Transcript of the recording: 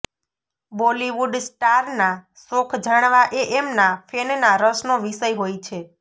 બોલિવૂડ સ્ટારના શોખ જાણવા એ એમના ફેનના રસનો વિષય હોય છે